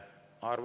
Arvo Aller.